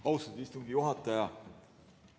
Austatud istungi juhataja!